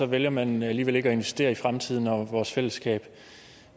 vælger man alligevel ikke at investere i fremtiden og vores fællesskab